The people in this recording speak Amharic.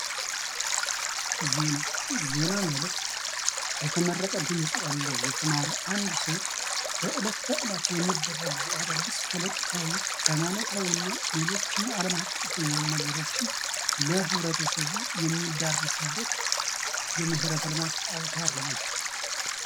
ዜና ማለት የተመረጠ ድምፅ ያለው የተማረ አንድ ሰው በእለተእለት የሚደረጉ አዳዲስ ፖለቲካዊ ፣ ሃይማኖታዊ ና ሌሎችን አለማቀፍ የሆኑ ነገሮችን ለህብረተሰቡ የሚዳረስበት የመሠረተልማት አውታር ነው ።